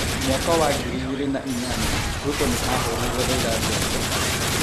Mwaka wa ngiri igĩrĩ na inyanya , Ruto nĩ ahũrĩire Raila ndebe ,